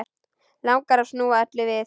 Langar að snúa öllu við.